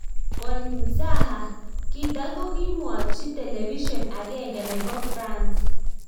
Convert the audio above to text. Konmzaha .Kita kokimwachi television agenge nepo France